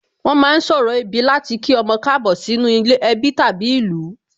Wón ma ń ṣorò ìbí láti kí ọmọ Káàbọ̀ sínú ẹbí tàbí ìlú